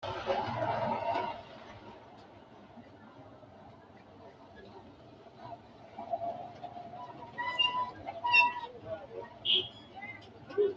Tenne uurrinshu- wanni daga beeqqitanno loosi loosamasinni dancha soorro leeltanni Tenne uurrinshu- wanni daga beeqqitanno loosi loosamasinni dancha soorro leeltanni.